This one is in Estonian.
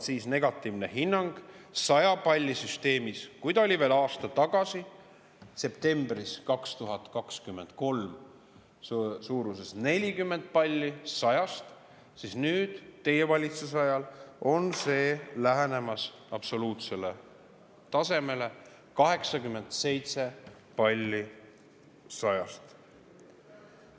Kui negatiivne hinnang 100 palli süsteemis oli veel aasta tagasi, septembris 2023, suuruses 40 palli 100-st, siis nüüd, teie valitsuse ajal, on see lähenemas absoluutselt tasemele: 87 palli 100-st.